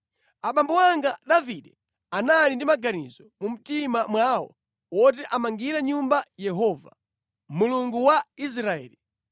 “Abambo anga Davide anali ndi maganizo mu mtima mwawo oti amangire nyumba Yehova, Mulungu wa Israeli.